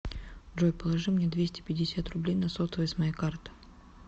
джой положи мне двести пятьдесят рублей на сотовый с моей карты